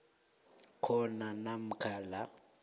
khona namkha la